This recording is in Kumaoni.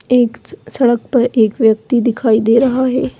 एक स-सड़क पर एक व्यक्ति दिखाई दे रहा है ।